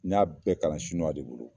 N y'a bɛɛ kalan sinuwa de bolo.